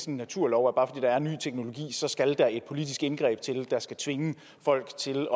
en naturlov om at der er ny teknologi så skal der et politisk indgreb til der skal tvinge folk til